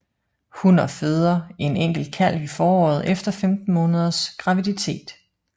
Hunner føder en enkelt kalv i foråret efter 15 måneders graviditet